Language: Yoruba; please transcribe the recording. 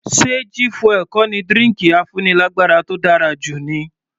Ṣe G fuel kò ní drinki afúnilágbára tó dára jù ni?